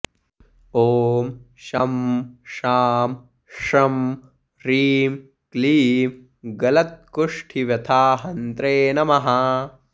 ॐ शं शां षं ह्रीं क्लीं गलत्कुष्ठिव्यथाहन्त्रे नमः